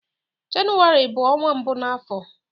Jenụwarị bụ ọnwa mbụ n'afọ.